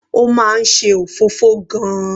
Ó máa ń ṣe òfófó gan-an.